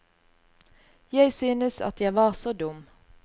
Jeg syntes at jeg var så dum.